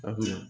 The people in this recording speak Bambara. A kunna